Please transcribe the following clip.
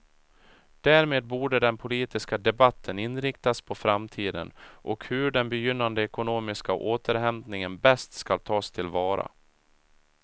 Därmed borde den politiska debatten inriktas på framtiden, och hur den begynnande ekonomiska återhämtningen bäst skall tas tillvara.